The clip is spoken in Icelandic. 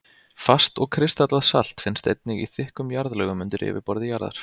Fast og kristallað salt finnst einnig í þykkum jarðlögum undir yfirborði jarðar.